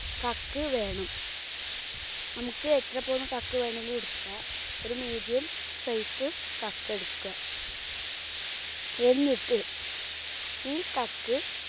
കക്ക് വേണം. നമുക്ക് എത്ര പോന്ന കക്ക് വേണമെങ്കിലും എടുക്കാം. ഒരു medium size കക്ക് എടുക്കുക. എന്നിട്ട് ഈ കക്ക്